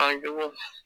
An jugu